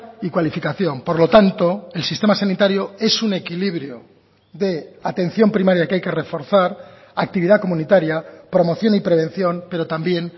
y cualificación por lo tanto el sistema sanitario es un equilibrio de atención primaria que hay que reforzar actividad comunitaria promoción y prevención pero también